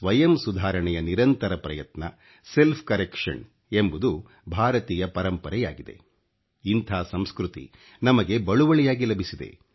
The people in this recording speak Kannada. ಸ್ವಯಂ ಸುಧಾರಣೆಯ ನಿರಂತರ ಪ್ರಯತ್ನ Seಟಜಿಅoಡಿಡಿeಛಿಣioಟಿ ಎಂಬುದು ಭಾರತೀಯ ಪರಂಪರೆಯಾಗಿದೆ ಇಂಥ ಸಂಸ್ಕøತಿ ನಮಗೆ ಬಳುವಳಿಯಾಗಿ ಲಭಿಸಿದೆ